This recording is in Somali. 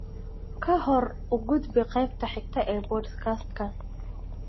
ka hor u gudub qaybta xigta ee podcast-kan